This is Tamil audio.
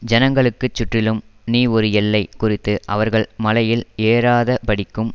ஜனங்களுக்குச் சுற்றிலும் நீ ஒரு எல்லை குறித்து அவர்கள் மலையில் ஏறாதபடிக்கும்